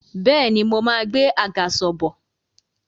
Bẹ́ẹ̀ni, mo máa gbé àgàsọ̀ bọ̀